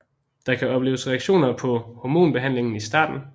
Der kan opleves reaktioner på hormonbehandlingen i starten